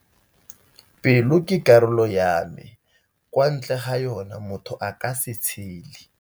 Pelo ke karolo ya mme kwa ntle ga yona, motho aka se tshele.